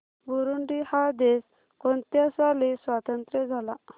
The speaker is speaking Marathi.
बुरुंडी हा देश कोणत्या साली स्वातंत्र्य झाला